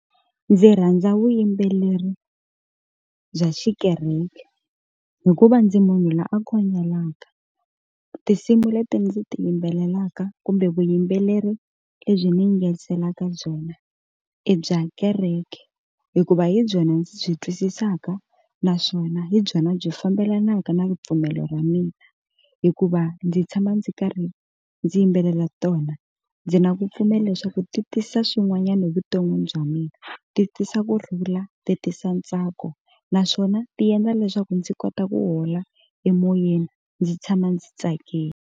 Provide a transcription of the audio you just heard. Ndzi rhandza vuyimbeleri bya xikereke hikuva ndzi munhu loyi a khongelaka tinsimu leti ndzi ti yimbelelaka kumbe vuyimbeleri lebyi ni nga tlheriselaka byona i bya kereke hikuva hi byona ndzi byi twisisaka naswona hi byona byi fambelanaka na ripfumelo ra mina hikuva ndzi tshama ndzi karhi ndzi yimbelela tona ndzi nga ku pfumela leswaku ti tisa swin'wanyani evuton'wini bya mina ti tisa kurhula ti tisa ntsako naswona ti endla leswaku ndzi kota ku hola emoyeni ndzi tshama ndzi tsakile.